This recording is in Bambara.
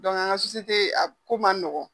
a ko man nɔgɔn.